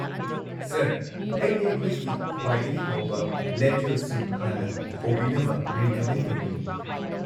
Sir, ꯑꯩꯗꯤ ꯑꯩꯈꯣꯏꯒꯤ ꯈ꯭ꯋꯥꯏꯗꯒꯤ ꯍꯥꯎꯕ ꯂꯦꯟꯇꯤꯜ ꯁꯨꯞ ꯍꯥꯟꯅ ꯍꯧꯕꯤꯅꯕ ꯔꯤꯀꯃꯦꯟ ꯇꯧꯅꯤꯡꯉꯤ꯫